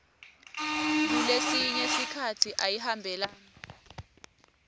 kulesinye sikhatsi ayihambelani